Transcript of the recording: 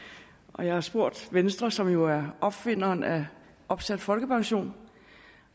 og jeg har spurgt venstre som jo er opfinderen af opsat folkepension